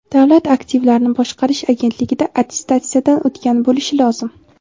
Davlat aktivlarini boshqarish agentligida attestatsiyadan o‘tgan bo‘lishi lozim.